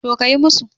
To, kayi musu